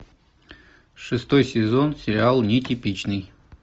шестой сезон сериал нетипичный